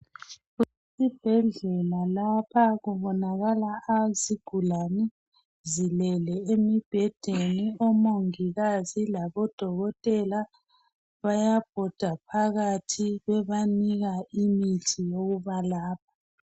Esibhedlela lapha kubonakala nansi izigulane zilele emibhedeni omongikazi labodokotela bayabhoda phakathi bebanika imithi lokubalapha.